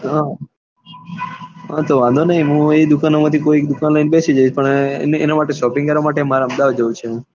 હા તો વાંધો ની હું એ દુકાનો માંથી કોઈ એક દુકાન એ બેસી જઈશ પણ એના માટે shopping કરવા માટે મારે અમદાવાદ જાવું છે